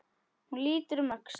Hún lítur um öxl.